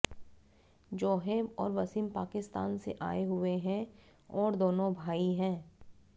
जोहेब और वसीम पाकिस्तान से आए हुए है और दोनों भाई है